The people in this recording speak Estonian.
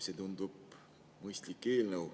See tundub mõistlik eelnõu.